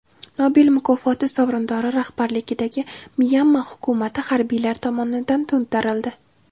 Nobel mukofoti sovrindori rahbarligidagi Myanma hukumati harbiylar tomonidan to‘ntarildi.